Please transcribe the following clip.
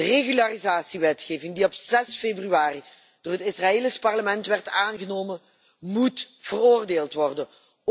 De regularisatiewetgeving die op 6 februari door het Israëlisch parlement werd aangenomen moet veroordeeld worden.